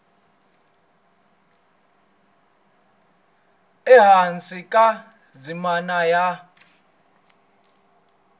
ehansi ka ndzimana ya a